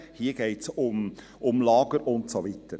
Hier geht es aber um Reisen, um Lager und so weiter.